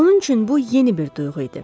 Onun üçün bu yeni bir duyğu idi.